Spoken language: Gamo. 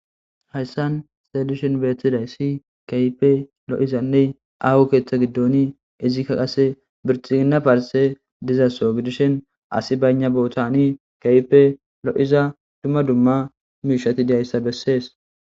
Hayisan xelishin betizayisi kehippe lo, iza aho ketha gidon izika qase bilxigina parteyi diza soho gidishin asi bayina botani kehippe lo,iza duma duma mishati diyasa besees